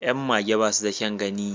Yan mage ba su da kyan gani